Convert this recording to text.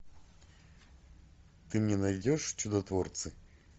ты мне найдешь чудотворцы